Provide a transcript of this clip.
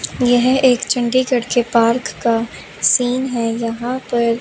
यह एक चंडीगढ़ के पार्क का सीन है यहां पर--